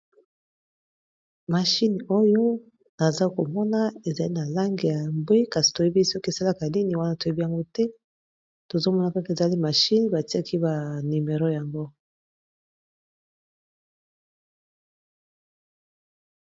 Machine oyo naza komona ezali na langi ya mbwe kasi toyebi soki esalaka nini wana toyebi yango te tozo mona kaka ezali machine batiaki ba numero yango.